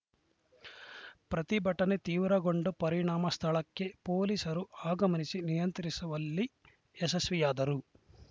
ಪ್ರತಿಭಟನೆ ತೀವ್ರಗೊಂಡ ಪರಿಣಾಮ ಸ್ಥಳಕ್ಕೆ ಪೊಲೀಸರು ಆಗಮನಿಸಿ ನಿಯಂತ್ರಿಸುವಲ್ಲಿ ಯಶಸ್ವಿಯಾದರು